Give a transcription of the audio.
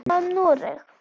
Hvað um Noreg?